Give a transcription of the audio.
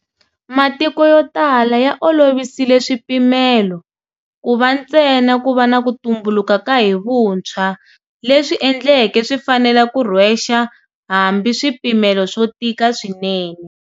Matiko yo tala ya olovisile swipimelo, ku va ntsena ku va na ku tumbulu ka hi vuntshwa, leswi endleke swi fanela ku rhwexa hambi swipimelo swo tika swinene.